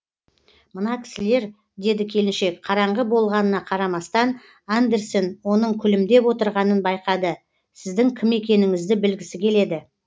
мына кісілер деді келіншек қараңғы болғанына қарамастан андерсен оның күлімдеп отырғанын байқады сіздің кім екеніңізді білгісі келеді